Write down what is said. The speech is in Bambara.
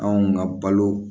Anw ka balo